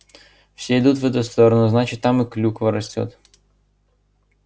все идут в эту сторону значит там и клюква растёт